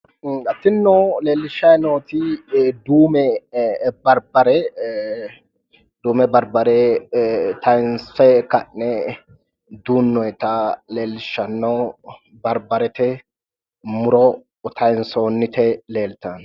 Tinino leellishayi nooti duume barbbare, duume barbbare taayiinse ka'ne duunnoyiita leellishshanno duume barbbarete muro taayinsoonniti leeltanno.